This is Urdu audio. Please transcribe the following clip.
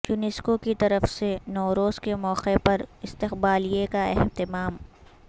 یونیسکو کی طرف سے نوروز کے موقع پر استقبالیے کا اہمتام